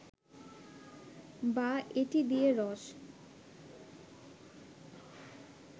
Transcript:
বা এটি দিয়ে রস